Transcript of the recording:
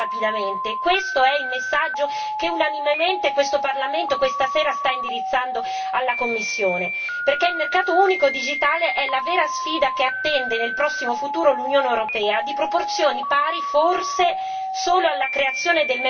Questo è il messaggio che unanimemente questo Parlamento questa sera sta indirizzando alla Commissione, perché il mercato unico digitale è la vera sfida che attende nel prossimo futuro l'Unione europea di proporzioni pari, forse, solo alla creazione del mercato unico.